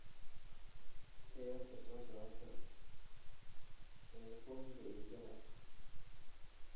ciyaarta soo socota ee bonga iyo jalas